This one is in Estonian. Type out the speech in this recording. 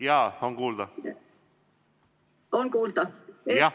Jaa, on kuulda.